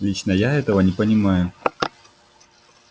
лично я этого не понимаю